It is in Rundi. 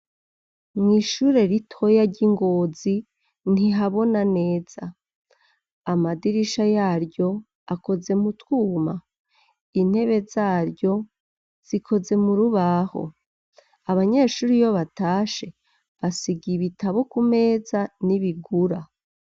Mw'ishure ritoya ry'i Ngozi, ntihabona neza; amadirisha yaryo akoze mu twuma, intebe zaryo zikoze mu rubaho, abanyeshure iyo batashe, basigaye ibitabo ku meza n'ibigura.